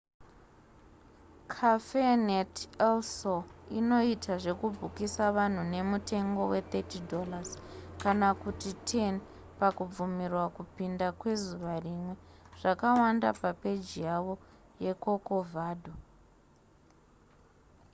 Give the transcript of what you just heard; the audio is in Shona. cafenet el sol inoita zvekubhukisa vanhu nemutengo we$30 kana kuti $10 pakubvumirwa kupinda kwezuva rimwe; zvakawanda papeji yavo yecorcovado